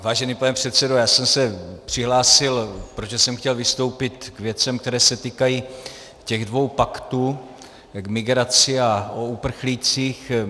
Vážený pane předsedo, já jsem se přihlásil, protože jsem chtěl vystoupit k věcem, které se týkají těch dvou paktů, k migraci a o uprchlících.